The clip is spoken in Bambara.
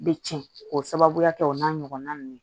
Bɛ tiɲɛ k'o sababuya kɛ o n'a ɲɔgɔnna ninnu